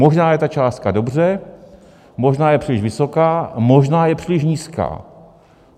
Možná je ta částka dobře, možná je příliš vysoká, možná je příliš nízká.